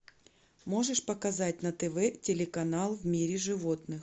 можешь показать на тв телеканал в мире животных